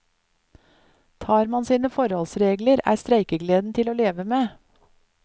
Tar man sine forholdsregler, er streikegleden til å leve med.